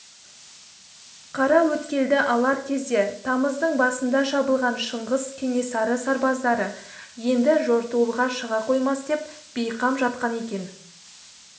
қараөткелді алар кезде тамыздың басында шабылған шыңғыс кенесары сарбаздары енді жортуылға шыға қоймас деп бейқам жатқан екен